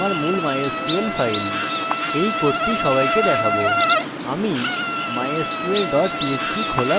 আমি আরেকটি ফাইল বানাবো যা আমার মূল mysql ফাইল